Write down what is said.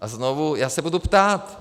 A znovu, já se budu ptát.